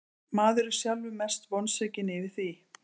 Maður er sjálfur mest vonsvikinn yfir því.